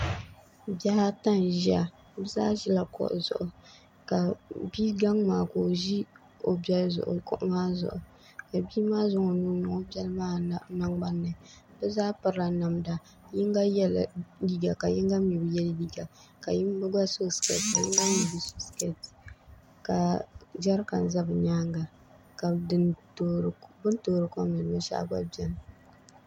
bihi ata n-ʒia bɛ zaa ʒila kuɣu zuɣu ka bi' gaŋa maa ka o ʒi o beli zuɣu kuɣu maa zuɣu ka bia maa zaŋ o nuu n-niŋ o beli maa nangbani ni bɛ zaa pirila namda yiŋga yɛla liiga ka yiŋga mi bi ye liiga ka yiŋga gba so sikeeti ka yiŋga mi Bi So SiKeeTi Ka JaRiKaN Za Bɛ NYaaŋGa Ka Bɛ Ni TooRi KoM NiŋDi BiNSHɛɣu Ni GBNa BeNi